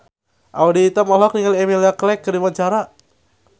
Audy Item olohok ningali Emilia Clarke keur diwawancara